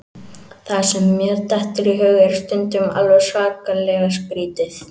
Það sem mér dettur í hug er stundum alveg svakalega skrítið.